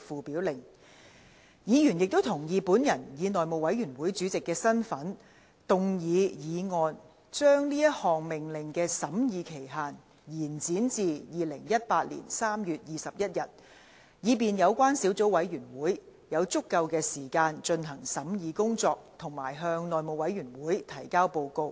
委員亦同意本人以內務委員會主席的身份，動議議案將該命令的審議期限，延展至2018年3月21日，以便小組委員會有足夠的時間進行審議工作及向內務委員會提交報告。